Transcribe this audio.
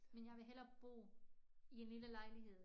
Men jeg vil hellere bo i en lille lejligehed